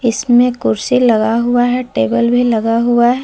इसमें कुर्सी लगा हुआ है टेबल लगा हुआ है।